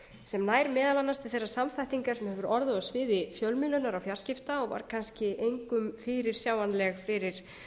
sem nær meðal annars til þeirrar samþættingar sem hefur orðið á sviði fjölmiðlunar og fjarskipta og var kannski engum fyrirsjáanleg fyrir